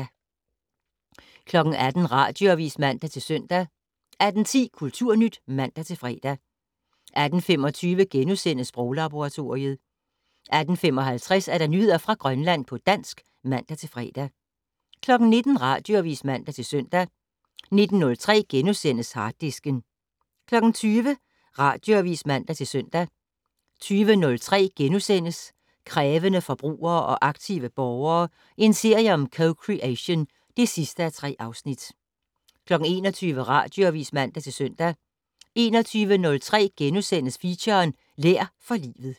18:00: Radioavis (man-søn) 18:10: Kulturnyt (man-fre) 18:25: Sproglaboratoriet * 18:55: Nyheder fra Grønland på dansk (man-fre) 19:00: Radioavis (man-søn) 19:03: Harddisken * 20:00: Radioavis (man-søn) 20:03: Krævende forbrugere og aktive borgere - en serie om co-creation (3:3)* 21:00: Radioavis (man-søn) 21:03: Feature: Lær for livet *